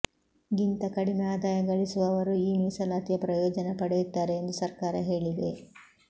ಗಿಂತ ಕಡಿಮೆ ಆದಾಯ ಗಳಿಸುವವರು ಈ ಮೀಸಲಾತಿಯ ಪ್ರಯೋಜನ ಪಡೆಯುತ್ತಾರೆ ಎಂದು ಸರ್ಕಾರ ಹೇಳಿದೆ